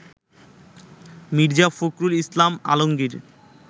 Mirza Fakhrul Islam Alamgir